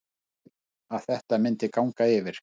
Barði að þetta myndi ganga yfir.